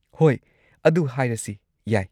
ꯍꯣꯏ, ꯑꯗꯨ ꯍꯥꯢꯔꯁꯤ ꯌꯥꯏ꯫